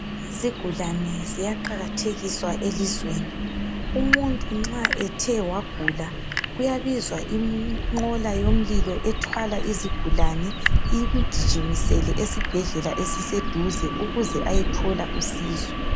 Izigulane ziyaqakathekiswa elizweni umuntu nxa ethe wagula kuyabizwa inqola yomlilo ethwala izigulane imgijimisele esibhedlela esiseduze ukuze ayethola usizo.